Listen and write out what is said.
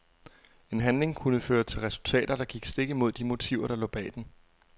En handling kunne føre til resultater, der gik stik imod de motiver der lå bag den.